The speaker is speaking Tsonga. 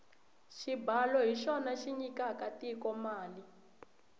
xibalo hi xona xi nyikaka tiko mali